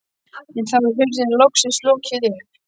En þá er hurðinni loksins lokið upp.